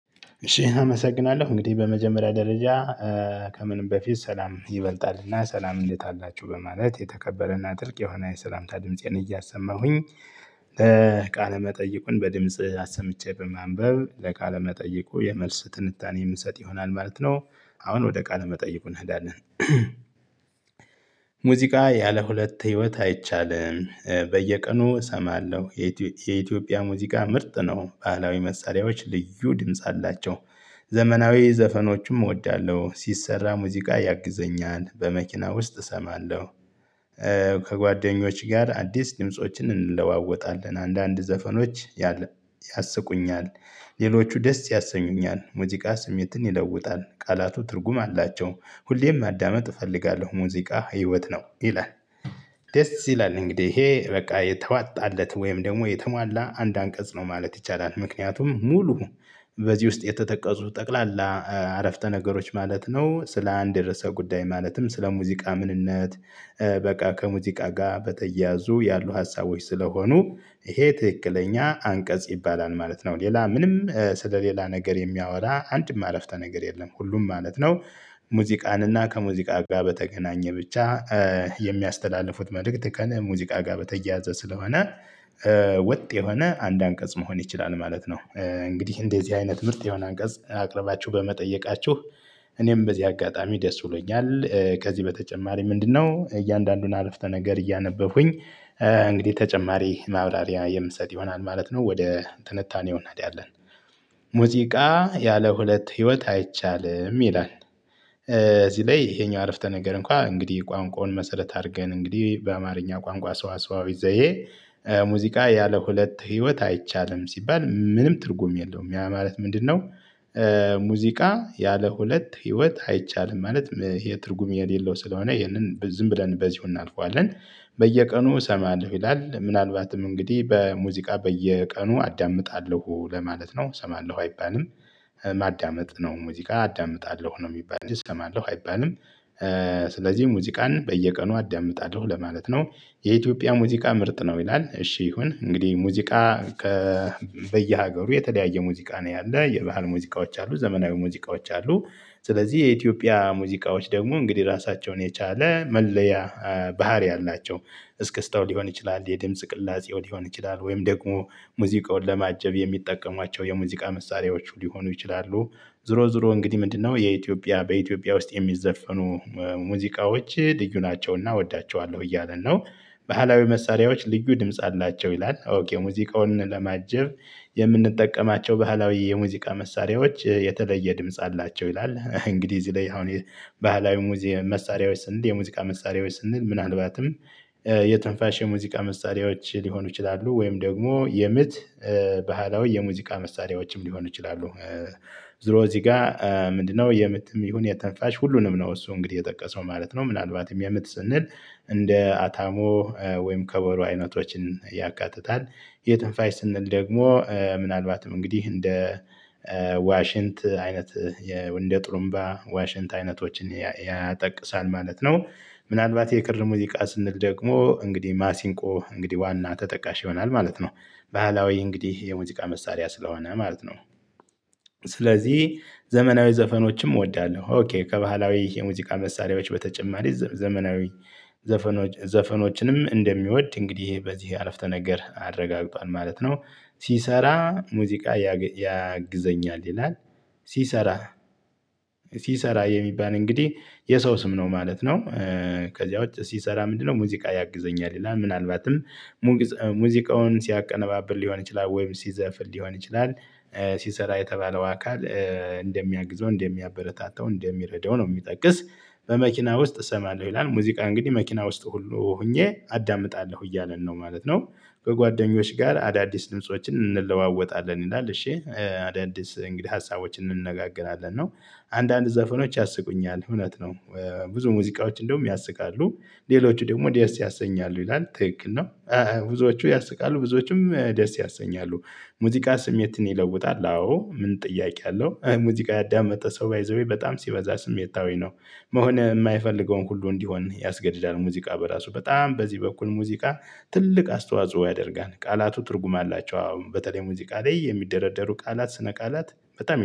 እሺ አመሰግናለሁ እንግዲህ በመጀመሪያ ደረጃ ከምንም በፊት ሰላም ይበልጣል እና ሰላም እንዴት አላችሁ በማለት የተከበረና ጥልቅ የሆነ የሰላምታ ድምፄን እያሰማሁኝ። ቃለ መጠይቁን በድምጽ አሰምቼ በማንበብ ለቃለ መጠይቁ የመልስ ትንታኔ የምሰጥ ይሆናል ማለት ነው አሁን ወደ ቃለ መጠይቁ እንሄዳለን። ሙዚቃ ያለ ሁለት ህይወት አይቻልም። በየቀኑ እሰማለሁ። የኢትዮጵያ ሙዚቃ ምርጥ ነው ባህላዊ መሳሪያዎች ልዩ ድምጽ አላቸው። ዘመናዊ ዘፈኖችም እወዳለሁ ሲሰራ ሙዚቃ ያግዘኛል በመኪና ውስጥ እሰማለሁ። ከጓደኞች ጋር አዲስ ድምፆችን እንለዋወጣለን አንዳንድ ዘፈኖች ያስቁኛል። ሌሎቹ ደስ ያሰኙኛል ሙዚቃ ስሜትን ይለውጣል ቃላቱ ትርጉም አላቸው። ሁሌም ማዳመጥ እፈልጋለሁ ሙዚቃ ህይወት ነው ይላል። ደስ ይላል እንግዲህ ይሄ በቃ የተዋጣለት ወይም ደግሞ የተሟላ አንድ አንቀጽ ነው ማለት ይቻላል። ምክንያቱም ሙሉ በዚህ ውስጥ የተጠቀሱ ጠቅላላ አረፍተ ነገሮች ማለት ነው ስለ አንድ የርዕሰ ጉዳይ ማለትም ስለ ሙዚቃ ምንነት። በቃ ከሙዚቃ ጋር በተያያዙ ያሉ ሀሳቦች ስለሆኑ ይሄ ትክክለኛ አንቀጽ ይባላል ማለት ነው። ሌላ ምንም ስለሌላ ነገር የሚያወራ አንድም አረፍተ ነገር የለም ሁሉም ማለት ነው። ሙዚቃን እና ከሙዚቃ ጋር በተገናኘ ብቻ የሚያስተላልፉት መልእክት ከሙዚቃ ጋር በተያያዘ ስለሆነ። ወጥ የሆነ አንድ አንቀጽ መሆን ይችላል ማለት ነው። እንግዲህ እንደዚህ አይነት ምርት የሆነ አንቀጽ አቅርባችሁ በመጠየቃችሁ። እኔም በዚህ አጋጣሚ ደስ ብሎኛል። ከዚህ በተጨማሪ ምንድነው? እያንዳንዱን አረፍተ ነገር እያነበብኩኝ። እንግዲህ ተጨማሪ ማብራሪያ የምሰጥ ይሆናል ማለት ነው። ወደ ትንታኔው አንሄዳለን። ሙዚቃ ያለ ሁለት ህይወት አይቻልም ይላል። እዚህ ይሄኛው አረፍተ ነገር እንኳን እንግዲህ ቋንቋውን መሰረት አድርገን እንግዲህ በአማርኛ ቋንቋ ሰዋሰዋዊ ዘዬ ሙዚቃ ያለ ሁለት ህይወት አይቻልም ሲባል ምንም ትርጉም የለውም ያ ማለት ምንድነው? ሙዚቃ ያለ ሁለት ህይወት አይቻልም ማለት የትርጉም የሌለው ስለሆነ ይህንን ዝም ብለን በዚሁ እናልፈዋለን። በየቀኑ እሰማለሁ ይላል ምናልባትም እንግዲህ በሙዚቃ በየቀኑ አዳምጣለሁ ለማለት ነው እሰማለሁ አይባልም። ማዳመጥ ነው ሙዚቃ አዳምጣለሁ ነው የሚባል እሰማለሁ አይባልም። ስለዚህ ሙዚቃን በየቀኑ አዳምጣለሁ ለማለት ነው። የኢትዮጵያ ሙዚቃ ምርጥ ነው ይላል። እሺ ይሁን እንግዲህ ሙዚቃ በየሀገሩ የተለያየ ሙዚቃ ነው ያለ የባህል ሙዚቃዎች አሉ ዘመናዊ ሙዚቃዎች አሉ። ስለዚህ የኢትዮጵያ ሙዚቃዎች ደግሞ እንግዲህ ራሳቸውን የቻለ መለያ ባህሪ አላቸው። እስክስታው ሊሆን ይችላል የድምጽ ቅላጼው ሊሆን ይችላል ወይም ደግሞ ሙዚቃውን ለማጀብ የሚጠቀሟቸው የሙዚቃ መሳሪያዎቹ ሊሆኑ ይችላሉ። ዞሮ ዞሮ እንግዲህ ምንድነው? የኢትዮጵያ በኢትዮጵያ ውስጥ የሚዘፈኑ ሙዚቃዎች ልዩ ናቸውና እወዳቸዋለሁ እያለ ነው። ባህላዊ መሳሪያዎ ልዩ ድምጽ አላቸው ይላል ኦኬ ሙዚቃውን ለማጀብ የምንጠቀማቸው ባህላዊ የሙዚቃ መሳሪያዎች የተለየ ድምጽ አላቸው ይላል። እንግዲህ እዚህ ላይ አሁን ባህላዊ ሙዚየም መሳሪያዎች ስንል የሙዚቃ መሳሪያዎች ስንል ምናልባትም የትንፋሽ የሙዚቃ መሳሪያዎች ሊሆኑ ይችላሉ ወይም ደግሞ የምት ባህላዊ የሙዚቃ መሳሪያዎችም ሊሆኑ ይችላሉ። ዞሮ እዚህ ጋር ምንድነው? የምትም ይሁን የትንፋሽ ሁሉንም ነው እሱ እንግዲህ የጠቀሰው ማለት ነው። ምናልባትም የምት ስንል እንደ አታሞ ወይም ከበሮ አይነቶችን ያካትታል። የትንፋሽ ስንል ደግሞ ምናልባትም እንግዲህ እንደ ዋሽንት አይነት የወንደ ጥሩምባ ዋሽንት አይነቶችን ያጠቅሳል ማለት ነው። ምናልባት የቅርብ ሙዚቃ ስንል ደግሞ እንግዲህ ማሲንቆ እንግዲህ ዋና ተጠቃሽ ይሆናል ማለት ነው። ባህላዊ እንግዲህ የሙዚቃ መሳሪያ ስለሆነ ማለት ነው። ስለዚህ ዘመናዊ ዘፈኖችም እወዳለሁ ኦኬ ከባህላዊ የሙዚቃ መሳሪያዎች በተጨማሪ ዘመናዊ ዘፈኖች ዘፈኖችንም እንደሚወድ እንግዲህ በዚህ አረፍተ ነገር አረጋግጧል ማለት ነው። ሲሰራ ሙዚቃ ያግዘኛል ይላል። ሲሰራ ሲሰራ የሚባል እንግዲህ የሰው ስም ነው ማለት ነው። ከዚያ ውጪ ሲሰራ ምንድነው? ሙዚቃ ያግዘኛል ይላል ምናልባትም ሙዚቃውን ሲያቀነባብር ሊሆን ይችላል ወይም ሲዘፍን ሊሆን ይችላል። ሲሰራ የተባለው አካል እንደሚያግዘው እንደሚያበረታታው እንደሚረዳው ነው የሚጠቅስ። በመኪና ውስጥ እሰማለሁ ይላል ሙዚቃ እንግዲህ መኪና ውስጥ ሁሉ ሆኜ አዳምጣለሁ እያለን ነው ማለት ነው። በጓደኞች ጋር አዳዲስ ድምፆችን እንለዋወጣለን ይላል እሺ አዳዲስ እንግዲህ ሀሳቦችን እንነጋገራለን ነው። አንዳንድ ዘፈኖች ያስቁኛል እውነት ነው። ብዙ ሙዚቃዎች እንደውም ያስቃሉ። ሌሎቹ ደግሞ ደስ ያሰኛሉ ይላል ትክክል ነው። ብዙዎቹ ያስቃሉ ብዙዎችም ደስ ያሰኛሉ። ሙዚቃ ስሜትን ይለውጣል አዎ ምን ጥያቄ አለው ሙዚቃ ያዳመጠ ሰው ባይ ዘ ዌይ በጣም ሲበዛ ስሜታዊ ነው። መሆን የማይፈልገውን ሁሉ እንዲሆን ያስገድዳል ሙዚቃ በራሱ በጣም በዚህ በኩል ሙዚቃ ትልቅ አስተዋጽኦ ያደርጋል። ቃላቱ ትርጉም አላቸው። አሁን በተለይ ሙዚቃ ላይ የሚደረደሩ ቃላት ስነ ቃላት በጣም